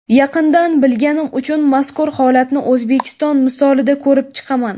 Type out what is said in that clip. Yaqindan bilganim uchun mazkur holatni O‘zbekiston misolida ko‘rib chiqaman.